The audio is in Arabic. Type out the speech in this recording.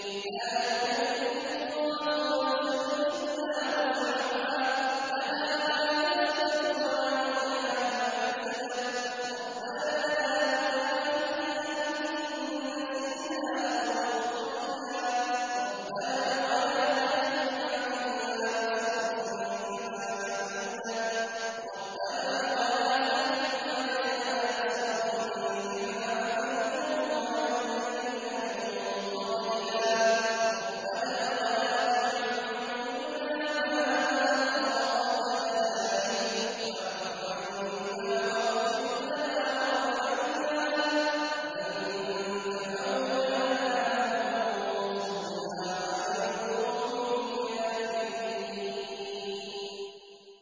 لَا يُكَلِّفُ اللَّهُ نَفْسًا إِلَّا وُسْعَهَا ۚ لَهَا مَا كَسَبَتْ وَعَلَيْهَا مَا اكْتَسَبَتْ ۗ رَبَّنَا لَا تُؤَاخِذْنَا إِن نَّسِينَا أَوْ أَخْطَأْنَا ۚ رَبَّنَا وَلَا تَحْمِلْ عَلَيْنَا إِصْرًا كَمَا حَمَلْتَهُ عَلَى الَّذِينَ مِن قَبْلِنَا ۚ رَبَّنَا وَلَا تُحَمِّلْنَا مَا لَا طَاقَةَ لَنَا بِهِ ۖ وَاعْفُ عَنَّا وَاغْفِرْ لَنَا وَارْحَمْنَا ۚ أَنتَ مَوْلَانَا فَانصُرْنَا عَلَى الْقَوْمِ الْكَافِرِينَ